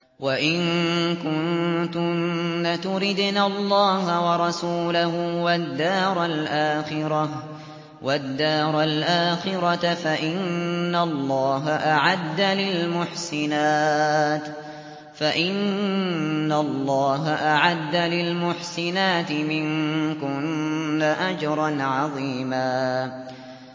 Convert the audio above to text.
وَإِن كُنتُنَّ تُرِدْنَ اللَّهَ وَرَسُولَهُ وَالدَّارَ الْآخِرَةَ فَإِنَّ اللَّهَ أَعَدَّ لِلْمُحْسِنَاتِ مِنكُنَّ أَجْرًا عَظِيمًا